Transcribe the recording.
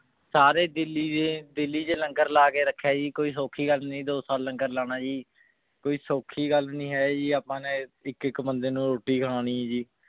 ਸਾਰੇ ਦੇਖੀ ਦੇ ਦਿੱਲੀ ਚ ਲੰਗਰ ਲਾ ਕੇ ਰਖ੍ਯਾ ਜੀ ਕੋਈ ਸੋਖੀ ਗਲ ਨਾਈ ਦਿੱਲੀ ਚ ਲੰਗਰ ਲਾਨਾ ਜੀ ਕੋਈ ਸੋਖੀ ਗਲ ਨਹੀ ਹੈ ਜੀ ਆਪਾਂ ਨੇ ਏਇਕ ਏਇਕ ਬੰਦੇ ਨੂ ਰੋਟੀ ਖਿਲਾਨੀ ਜੀ